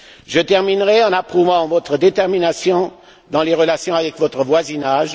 Je terminerai en approuvant votre détermination dans la gestion des relations avec votre voisinage.